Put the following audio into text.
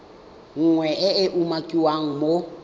nngwe e e umakiwang mo